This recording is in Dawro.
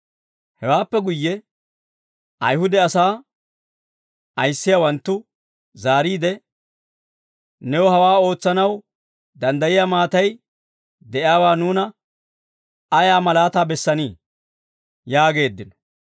Hewaappe guyye, Ayihude asaa ayissiyaawanttu zaariide, «New hawaa ootsanaw danddayiyaa maatay de'iyaawaa nuuna ayaa malaataa bessanii?» yaageeddino.